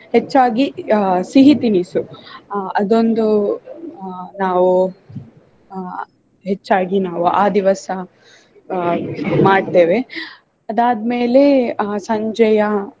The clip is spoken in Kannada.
ಹೆಚ್ಚಾಗಿ ಆಹ್ ಸಿಹಿ ತಿನಿಸು ಆಹ್ ಅದೊಂದು ಆಹ್ ನಾವು ಆಹ್ ಹೆಚ್ಚಾಗಿ ನಾವು ಆ ದಿವಸ ಆಹ್ ಮಾಡ್ತೇವೆ. ಅದಾದ್ಮೇಲೆ ಆಹ್ ಸಂಜೆಯ